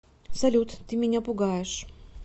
салют ты меня пугаешь